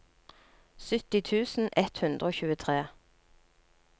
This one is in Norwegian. sytti tusen ett hundre og tjuetre